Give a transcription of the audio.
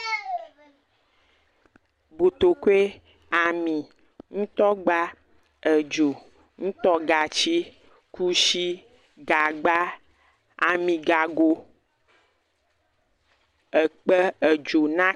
Botokoe, ami, ŋutɔ gba, edzo, ŋutɔ gatsi, kushi, gagba, ami gago, ekpe, edzo na.